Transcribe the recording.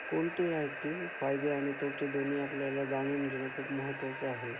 कोणते आहेत ते फायदे आणि तोटे दोन्ही आपल्याला जाणून घेणं खूप महत्त्वाचं आहे.